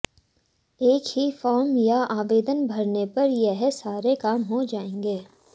एक ही फार्म या आवेदन भरने पर यह सारे काम हो जाएंगे